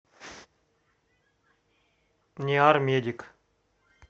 ниармедик